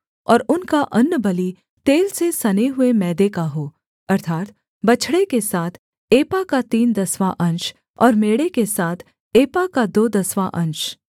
और उनका अन्नबलि तेल से सने हुए मैदे का हो अर्थात् बछड़े के साथ एपा का तीन दसवाँ अंश और मेढ़े के साथ एपा का दो दसवाँ अंश